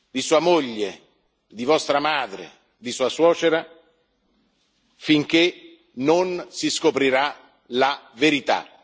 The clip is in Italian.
di sua moglie, di vostra madre, di sua suocera finché non si scoprirà la verità.